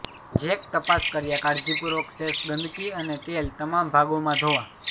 Jack તપાસ કર્યા કાળજીપૂર્વક શેષ ગંદકી અને તેલ તમામ ભાગોમાં ધોવા